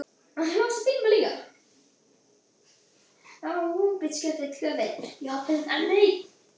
Nú kom Herra Brian líka og horfði með vantrú á Kormák.